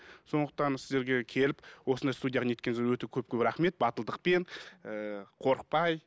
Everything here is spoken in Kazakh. сондықтан сіздерге келіп осындай студияға не еткеніңізге өте көп көп рахмет батылдықпен ііі қорықпай